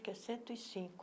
é cento e cinco